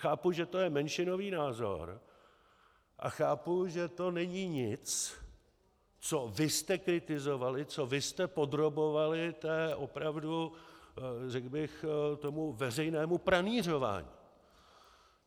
Chápu, že to je menšinový názor, a chápu, že to není nic, co vy jste kritizovali, co vy jste podrobovali té opravdu, řekl bych, tomu veřejnému pranýřování.